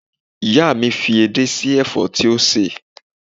Ìyá mi fi edé sí ẹ̀fọ́ tí ó sè